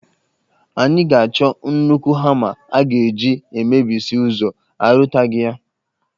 Anyị ga-achọ nnukwu hama a ga-eji emebisi ụzọ, a rụtaghị ya